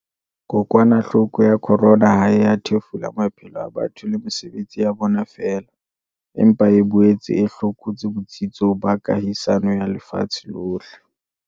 Kokwanahloko ya corona ha e a thefula maphelo a batho le mesebetsi ya bona feela, empa e boetse e hlokotse botsitso ba kahisano ya lefatshe lohle.